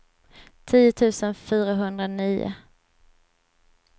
tio tusen fyrahundranio